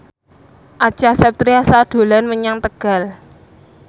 Acha Septriasa dolan menyang Tegal